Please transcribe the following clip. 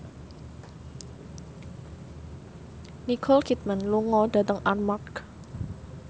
Nicole Kidman lunga dhateng Armargh